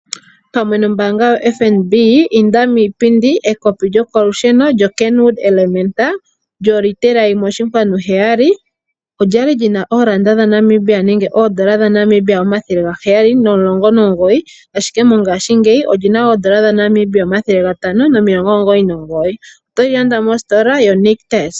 Pamwe nombaanga yo FNB inda miipindi ekopi lyokolusheno Kenwood Elementa lyo liitela 1,7 olyali lina oolanda dha Namibia nenge oondola dha Namibia 719 ashike mongashingeyi olina N$ 599 otoli landa mostola yo nictus.